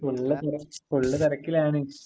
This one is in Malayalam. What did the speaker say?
ഫുള്ള് തിരക്കിലാണ്...